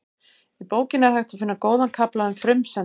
Í bókinni er hægt að finna góðan kafla um frumsendur.